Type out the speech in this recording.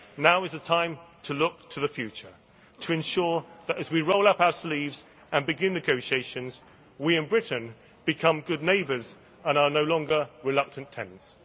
Now is the time to look to the future, to ensure that as we roll up our sleeves and begin negotiations, we in Britain become good neighbours and are no longer reluctant tenants.